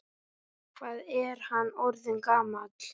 Hvað er hann orðinn gamall?